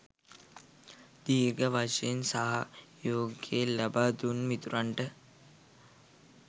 දීර්ඝ වශයෙන් සහයෝගය ලබාදුන් මිතුරන්ට